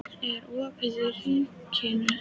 Sofie, er opið í Ríkinu?